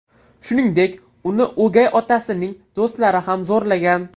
Shuningdek, uni o‘gay otasining do‘stlari ham zo‘rlagan.